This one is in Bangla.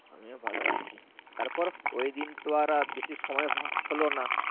আমি ভালো আছি তারপর ওই দিন তো আর আর বেশি সময় হলো না